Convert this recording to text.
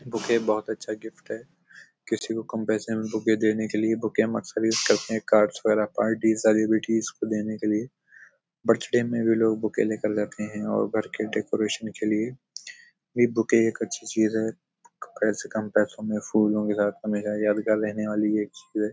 Bouquet बहोत अच्छा gift है। किसी को कम पैसे में बुके देने के लिए बुके करते हैं। कार्ड्स वगेरा पार्टी सेलिब्रिटीज को देने के लिए। बर्थडे में भी लोग बुके लेकर जाते हैं और घर के डेकोरेशन के लिए भी बुके एक अच्छी चीज़ है। पैसे कम पैसो में फूलों के साथ हमेशा यादगार रहने वाली एक चीज़ है।